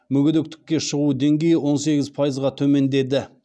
мүгедектікке шығу деңгейі он сегіз пайызға төмендеді